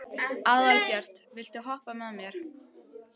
Albjört, viltu hoppa með mér?